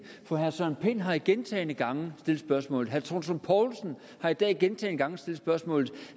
for herre søren pind har gentagne gange stillet spørgsmålet herre troels lund poulsen har i dag gentagne gange stillet spørgsmålet